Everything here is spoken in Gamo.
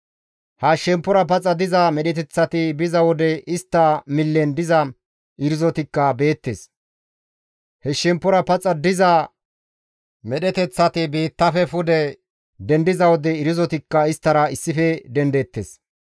Ha shemppora paxa diza medheteththati biza wode istta millen diza irzotikka beettes; he shemppora paxa diza medheteththati biittafe pude dendiza wode irzotikka isttara issife dendeettes.